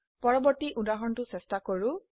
পূৰ্ববৰ্তী উদাহৰণটো চেষ্টা কৰো